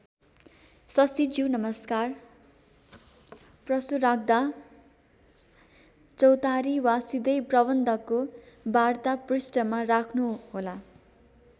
शशीज्यू नमस्कार प्रश्न राख्दा चौतारी वा सिधै प्रबन्धकको वार्ता पृष्ठमा राख्नु होला।